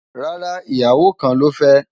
rárá, ìyàwó kàn ló fe